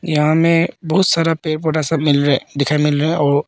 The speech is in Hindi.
यहां मे बहुत सारा पेड़ पौधा सब मिल रहा है दिखाई मिल रा है और--